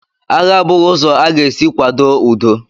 Agha a bụghị ụzọ a ga-esi kwado udo.